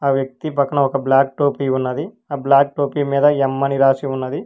ఆ వ్యక్తి పక్కన ఒక బ్లాక్ టోపీ ఉన్నది ఆ బ్లాక్ టోపీ మీద ఎం అని రాసి ఉన్నది.